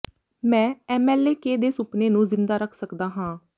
ਮੈਂ M L K ਦੇ ਸੁਪਨੇ ਨੂੰ ਜ਼ਿੰਦਾ ਰੱਖ ਸਕਦਾ ਹਾਂ